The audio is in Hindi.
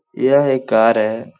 यह एक कार है |